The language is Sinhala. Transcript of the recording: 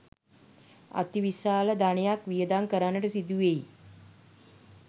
අතිවිශාල ධනයක් වියදම් කරන්නට සිදුවෙයි.